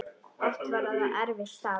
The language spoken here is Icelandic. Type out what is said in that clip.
Oft var það erfitt starf.